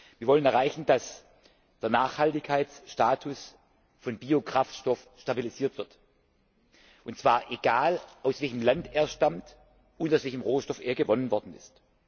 Wir wollen erreichen, dass der Nachhaltigkeitsstatus von Biokraftstoff stabilisiert wird und zwar egal, aus welchem Land er stammt und aus welchem Rohstoff er gewonnen worden ist.